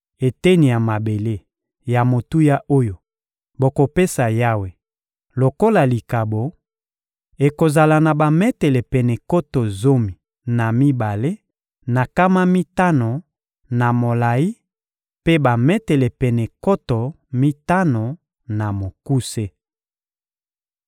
Eteni ya mabele ya motuya oyo bokopesa Yawe lokola likabo ekozala na bametele pene nkoto zomi na mibale na nkama mitano na molayi mpe bametele pene nkoto mitano na mokuse.